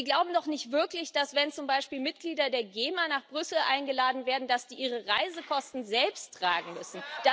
Sie glauben doch nicht wirklich, dass, wenn zum Beispiel Mitglieder der GEMA nach Brüssel eingeladen werden, die ihre Reisekosten selbst tragen müssen?